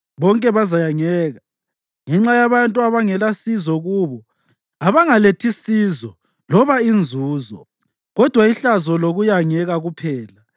bonke bazayangeka ngenxa yabantu abangalasizo kubo, abangalethi sizo loba inzuzo, kodwa ihlazo lokuyangeka kuphela.”